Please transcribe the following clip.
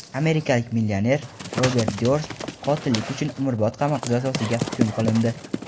Amerikalik millioner Robert Dyorst qotillik uchun umrbod qamoq jazosiga hukm qilindi.